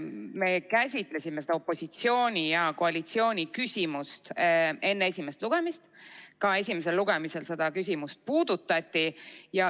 Me käsitlesime seda opositsiooni ja koalitsiooni küsimust enne esimest lugemist, ka esimesel lugemisel seda küsimust puudutati.